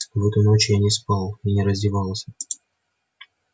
в эту ночь я не спал и не раздевался